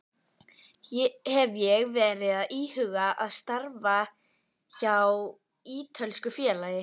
Hef ég verið að íhuga að starfa hjá ítölsku félagi?